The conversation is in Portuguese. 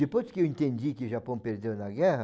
Depois que eu entendi que o Japão perdeu na guerra,